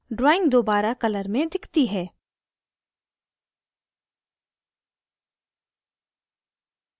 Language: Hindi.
drawing दोबारा colour में दिखती है